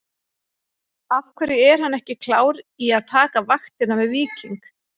Af hverju er hann ekki klár í að taka vaktina með Víking?